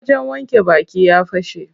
Wajen wanke baki ya fashe.